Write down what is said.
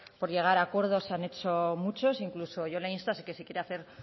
por llegar a acuerdos se han hecho muchos incluso yo le insto que si quiere hacer